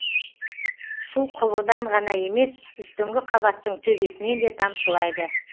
су құбырдан ғана емес үстіңгі қабаттың төбесінен де тамшылайды